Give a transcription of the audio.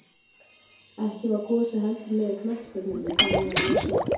Ekki var Gosi heldur með í knattspyrnunni, þótt hann væri jafnaldri